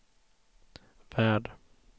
värld